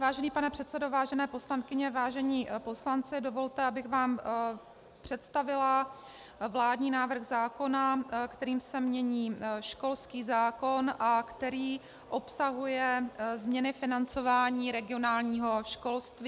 Vážený pane předsedo, vážené poslankyně, vážení poslanci, dovolte, abych vám představila vládní návrh zákona, kterým se mění školský zákon a který obsahuje změny financování regionálního školství.